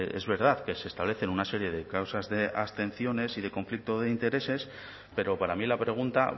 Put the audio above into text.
es verdad que se establecen una serie de causas de abstenciones y de conflicto de intereses pero para mí la pregunta